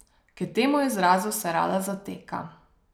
K temu izrazu se rada zateka.